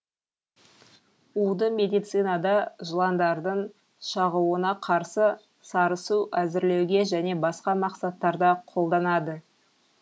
уды медицинада жыландардың шағуына қарсы сарысу әзірлеуге және басқа мақсаттарда қолданады